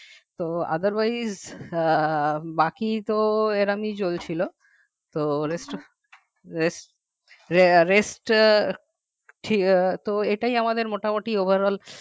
তো otherwise আহ বাকি তো এ রকমই চলছিল তো rest rest rest আহ ছিল আহ এটাই আমাদের মোটামুটি overall